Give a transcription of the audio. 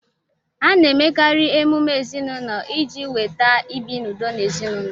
A na-emekarị emume ezinaụlọ iji weta ibi n'udo n'ezinaụlọ